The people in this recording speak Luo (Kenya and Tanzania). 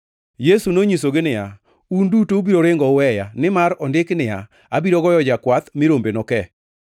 Yesu nonyisogi niya, “Un duto ubiro ringo uweya, nimar ondiki niya, “ ‘Abiro goyo jakwath mi rombe noke.’ + 14:27 \+xt Zek 13:7\+xt*